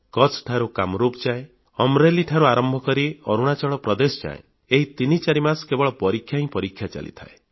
କଚ୍ଛ ଠାରୁ କାମରୂପ ଯାଏ ଅମ୍ରେଲୀ ଠାରୁ ଆରମ୍ଭ କରି ଅରୁଣାଚଳ ପ୍ରଦେଶ ଯାଏ ଏହି ତିନି ଚାରି ମାସ କେବଳ ପରୀକ୍ଷା ହିଁ ପରୀକ୍ଷା ଚାଲିଥାଏ